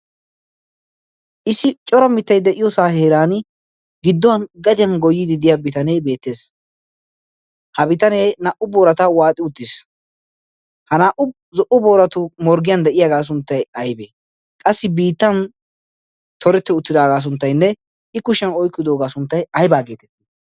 issi coro mittai de'iyoosaa heeran gidduwan gadiyan goyidi diya bitanee beettees. ha bitanee naa'u boorata waaxi uttiis ha naa'u zo'u booratu morggiyan de'iyaagaa sunttai aybee qassi biittan torette uttidaagaa sunttainne i kushiyan oikkidoogaa sunttay aybaa geetettii?